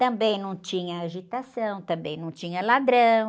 Também não tinha agitação, também não tinha ladrão.